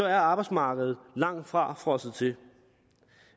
er arbejdsmarkedet langt fra frosset til